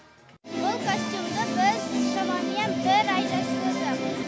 бұл костюмді біз шамамен бір ай жасадық